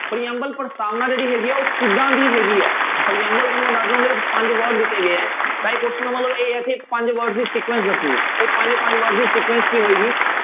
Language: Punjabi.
ਪ੍ਰਿਅੰਬਲ ਪ੍ਰਸਤਾਵਨਾ ਜਿਹੜੀ ਹੈਗੀ ਹੈ ਉਹ ਕਿੱਦਾਂ ਦੀ ਹੈਗੀ ਹੈ, ਪ੍ਰਿਅੰਬਲ ਤੁਹਾਨੂੰ ਮੈਂ ਦੱਸਦਾਂ ਉਹਦੇ ਵਿੱਚ ਪੰਜ word ਦਿੱਤੇ ਗਏ ਹੈ ਤਾਂ ਇਹ question ਦਾ ਮਤਲਬ ਇਹ ਆ ਇੱਥੇ ਪੰਜ words ਦੀ sequence ਦੱਸਣੀ ਹੈ ਉਹ ਪੰਜੇ ਪੰਜ word ਦੀ sequence ਕੀ ਹੋਏਗੀ।